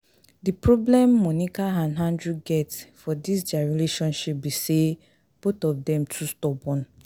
The problem Monica and Andrew get for dis dia relationship be say both of dem too stubborn